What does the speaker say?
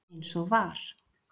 Eins og var.